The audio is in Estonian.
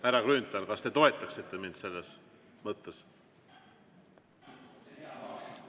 Härra Grünthal, kas te toetaksite mind selles mõttes?